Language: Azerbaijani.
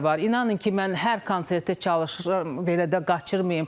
İnanın ki, mən hər konsertə çalışıram belə də qaçırmayım.